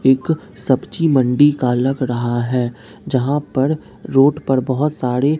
एक सब्जी मंडी का लग रहा है जहां पर रोड पर बहुत साड़े --